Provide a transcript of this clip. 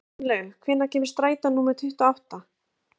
Fannlaug, hvenær kemur strætó númer tuttugu og átta?